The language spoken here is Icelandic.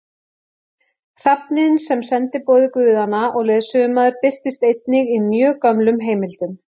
Hrafninn sem sendiboði guðanna og leiðsögumaður birtist einnig í mjög gömlum heimildum.